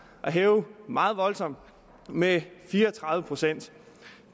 at hæve meget voldsomt med fire og tredive procent